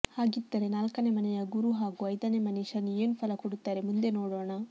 ಹಾಗಿದ್ದರೆ ನಾಲ್ಕನೇ ಮನೆಯ ಗುರು ಹಾಗೂ ಐದನೇ ಮನೆ ಶನಿ ಏನು ಫಲ ಕೊಡುತ್ತಾರೆ ಮುಂದೆ ನೋಡೋಣ